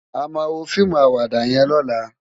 Àmá wó fiimú àwàdá yèn lòlá